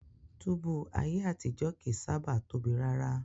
Túbú ayé àtijó kìí sábàá tóbi rárá.